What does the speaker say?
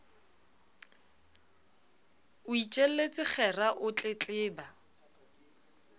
o itjelletse kgera o tletleba